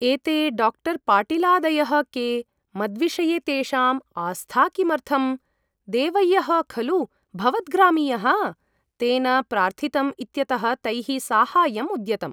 एते डाक्टर् पाटीलादयः के ? मद्विषये तेषाम् आस्था किमर्थम् ? देवय्यः खलु भवद्वामीयः ? तेन प्रार्थितम् इत्यतः तैः साहाय्याय उद्यतम् ।